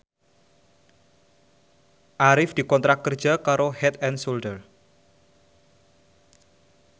Arif dikontrak kerja karo Head and Shoulder